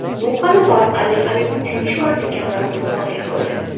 Bu g‘alaba orqali Habib uchinchi marta kamarini himoya qildi.